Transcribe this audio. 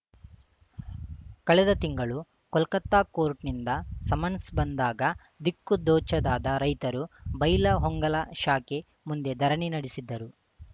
ಕಳೆದ ತಿಂಗಳು ಕೋಲ್ಕತಾ ಕೋರ್ಟ್‌ ನಿಂದ ಸಮನ್ಸ್‌ ಬಂದಾಗ ದಿಕ್ಕುದೋಚದಾದ ರೈತರು ಬೈಲಹೊಂಗಲ ಶಾಖೆ ಮುಂದೆ ಧರಣಿ ನಡೆಸಿದ್ದರು